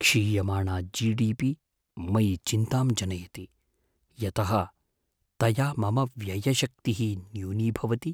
क्षीयमाणा GDP. मयि चिन्तां जनयति, यतः तया मम व्ययशक्तिः न्यूनीभवति।